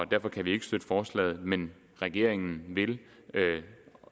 derfor kan vi ikke støtte forslaget men regeringen vil